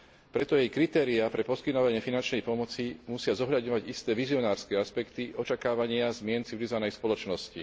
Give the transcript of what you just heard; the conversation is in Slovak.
Preto jej kritériá pre poskytovanie finančnej pomoci musia zohľadňovať isté vizionárske aspekty očakávania zmien v civilizovanej spoločnosti.